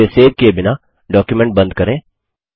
इसे सेव किये बिना डॉक्युमेंट बंद करें